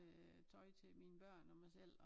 Øh tøj til mine børn og mig selv og